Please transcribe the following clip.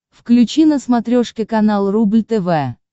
включи на смотрешке канал рубль тв